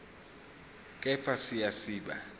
kepha siya siba